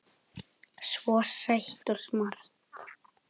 Svo sæt og smart.